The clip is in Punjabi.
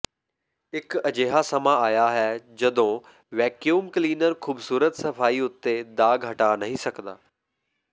ਇਕ ਅਜਿਹਾ ਸਮਾਂ ਆਇਆ ਹੈ ਜਦੋਂ ਵੈਕਿਊਮ ਕਲੀਨਰ ਖੂਬਸੂਰਤ ਸਫਾਈ ਉੱਤੇ ਦਾਗ਼ ਹਟਾ ਨਹੀਂ ਸਕਦਾ